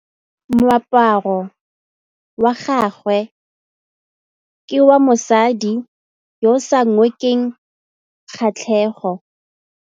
Moaparô wa gagwe ke wa mosadi yo o sa ngôkeng kgatlhegô.